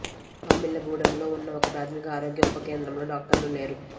మామిళ్ళగూడెంలో ఉన్న ఒక ప్రాథమిక ఆరోగ్య ఉప కేంద్రంలో డాక్టర్లు లేరు